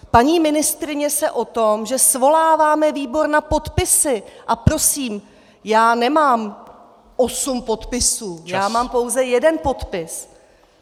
Paní ministryně se o tom, že svoláváme výbor na podpisy - a prosím, já nemám osm podpisů , já mám pouze jeden podpis.